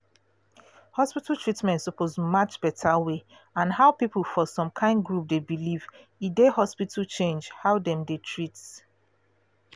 hospital treatment suppose match better way and how people for som kyn group de believe e de hospital change how dem dey treat